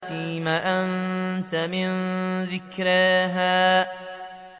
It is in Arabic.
فِيمَ أَنتَ مِن ذِكْرَاهَا